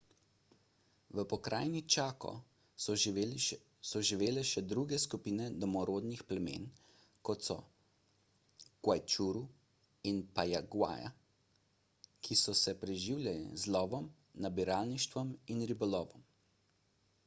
v pokrajini chaco so živele še druge skupine domorodnih plemen kot so guaycurú in payaguá ki so se preživljale z lovom nabiralništvom in ribolovom